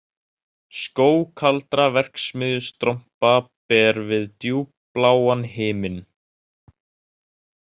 Skóg kaldra verksmiðjustrompa ber við djúpbláan himin